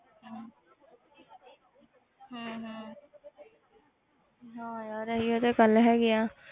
ਹਮ ਹਮ ਹਾਂ ਯਾਰ ਇਹੀ ਤੇ ਗੱਲ ਹੈਗੀ ਹੈ।